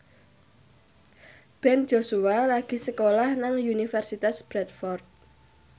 Ben Joshua lagi sekolah nang Universitas Bradford